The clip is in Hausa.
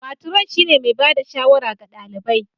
Matron shine mai ba da shawara ga ɗalibai